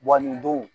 nin don